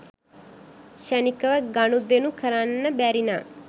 ක්ෂණිකව ගනුදෙණු කරන්න බැරිනම්